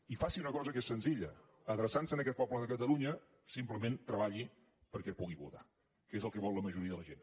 i faci una cosa que és senzilla adreçant se a aquest poble de catalunya simplement treballi perquè pugui votar que és el que vol la majoria de la gent